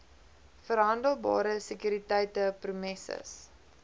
verhandelbare sekuriteite promesses